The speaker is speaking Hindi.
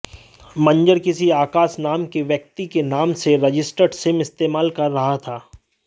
मंजर किसी आकाश नाम के व्यक्ति के नाम से रजिस्टर्ड सिम इस्तेमाल कर रहा था